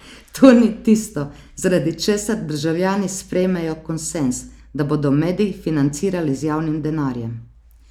To ni tisto, zaradi česar državljani sprejmejo konsenz, da bodo medij financirali z javnim denarjem.